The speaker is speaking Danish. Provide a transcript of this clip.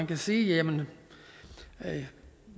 vil sige at